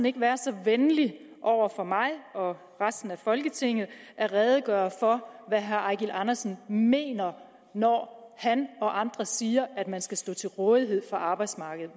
ikke være så venlig over for mig og resten af folketinget at redegøre for hvad herre eigil andersen mener når han og andre siger at man skal stå til rådighed for arbejdsmarkedet